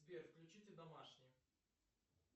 сбер включите домашний